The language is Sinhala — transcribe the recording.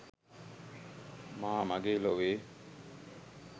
මා මගේ ලොවේ